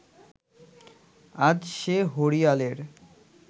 আজ সে হরিয়ালের